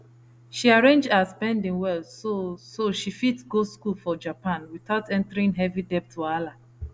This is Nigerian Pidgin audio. she arrange her spending well so so she fit go school for japan without entering heavy debt wahala